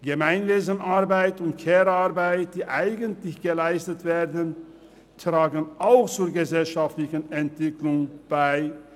Gemeinwesenarbeit und Care-Arbeit, die eigentlich geleistet werden, tragen auch zur gesellschaftlichen Entwicklung bei;